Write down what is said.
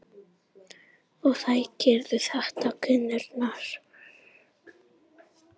Og þær gerðu þetta, konurnar.